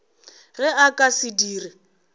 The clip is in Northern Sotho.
ge a ka se dire